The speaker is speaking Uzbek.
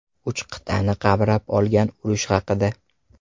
Uch qit’ani qamrab olgan urush haqida.